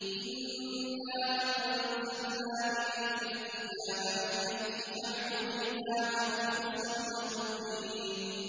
إِنَّا أَنزَلْنَا إِلَيْكَ الْكِتَابَ بِالْحَقِّ فَاعْبُدِ اللَّهَ مُخْلِصًا لَّهُ الدِّينَ